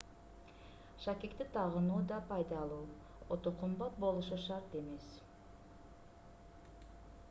шакекти тагынуу да пайдалуу өтө кымбат болушу шарт эмес